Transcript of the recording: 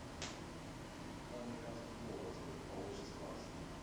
два американских доллара сколько получится баксов